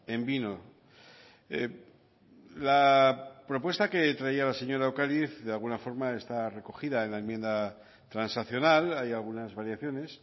en vino la propuesta que traía la señora ocariz de alguna forma está recogida en la enmienda transaccional hay algunas variaciones